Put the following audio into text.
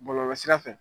Bɔlɔlɔsira fɛ